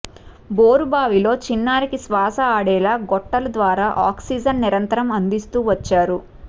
బోరుబావిలో చిన్నారికి శ్వాస ఆడేలా గొట్టల ద్వారా ఆక్సిజన్ నిరంతరం అందిస్తూ వచ్చారు